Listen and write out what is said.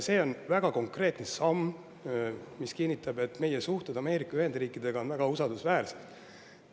See on väga konkreetne samm, mis kinnitab, et meie suhted Ameerika Ühendriikidega on väga usaldusväärsed.